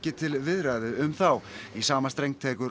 til viðræðu um þá í sama streng tekur